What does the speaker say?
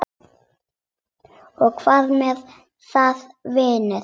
Og hvað með það, vinur?